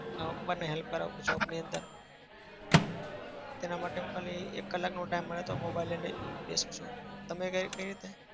ના પપ્પાને help કરાવું shop ની અંદર તેના માટે હું ખાલી એક કલાકનો time મળે તો mobile લઇને બેસું છું. તમે કઈ કઈ રીતે?